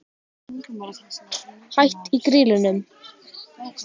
Hætt í Grýlunum?